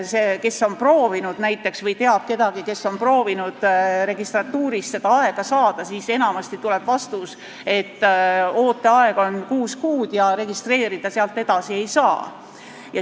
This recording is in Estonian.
Kui te olete proovinud või teate kedagi, kes on proovinud registratuurist aega saada, siis te teate, et enamasti tuleb vastus, et ooteaeg on kuus kuud ja sealt edasi registreerida ei saa.